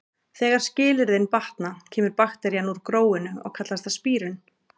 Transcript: Þegar skilyrðin batna kemur bakterían úr gróinu og kallast það spírun.